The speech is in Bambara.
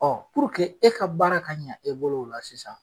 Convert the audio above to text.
e ka baara ka ɲɛ e bolo o la sisan.